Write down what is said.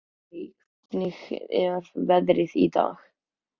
Harrý, hvernig er veðrið í dag?